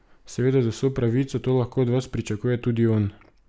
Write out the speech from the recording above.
Seveda z vso pravico to lahko od vas pričakuje tudi on.